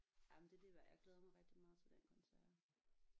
Jamen det er det værd jeg glæder mig rigtig meget til den koncert